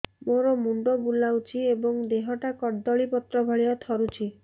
ମୋର ମୁଣ୍ଡ ବୁଲାଉଛି ଏବଂ ଦେହଟା କଦଳୀପତ୍ର ଭଳିଆ ଥରୁଛି